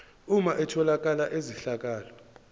uma etholakala izehlakalo